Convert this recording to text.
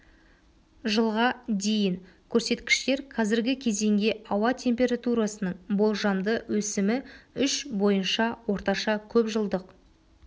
жылға дейін көрсеткіштер қазіргі кезеңге ауа температурасының болжамды өсімі үш бойынша орташа көпжылдық